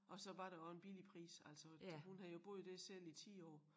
Og så var der også en billig pris altså hun havde jo boet dér selv i 10 år